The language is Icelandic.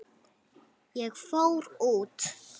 Ég fór út.